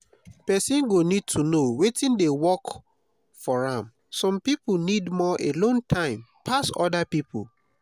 person go need to know wetin dey work for am some pipo need more alone time pass oda pipo